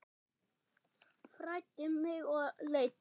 Fræddi mig og leiddi.